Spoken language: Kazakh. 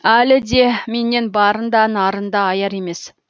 әлі де менен барын да нарын да аяр емес